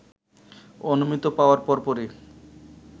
অনুমতি পাওয়ার পরপরই